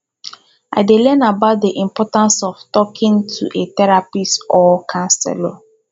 i dey learn about dey importance of talking to a therapist or counselor